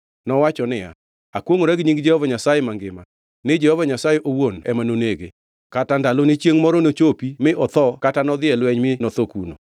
Nowacho niya, “Akwongʼora gi nying Jehova Nyasaye mangima, ni Jehova Nyasaye owuon ema nonege; kata ndalone chiengʼ moro nochopi mi otho kata nodhi e lweny mi notho kuno.